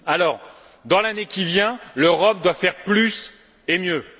Aussi, dans l'année qui vient, l'Europe doit faire plus et mieux.